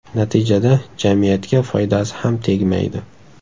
Natijada jamiyatga foydasi ham tegmaydi.